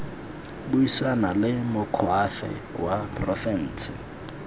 buisana le moakhaefe wa porofense